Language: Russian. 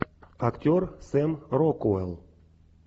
актер сэм рокуэлл